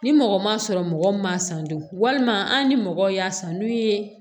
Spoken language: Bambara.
Ni mɔgɔ ma sɔrɔ mɔgɔ min m'a san bi walima an ni mɔgɔ y'a san n'u ye